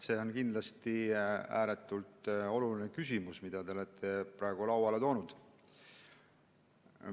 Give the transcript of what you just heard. See on kindlasti ääretult oluline küsimus, mille te praegu lauale tõite.